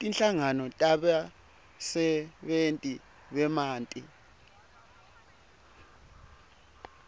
tinhlangano tebasebentisi bemanti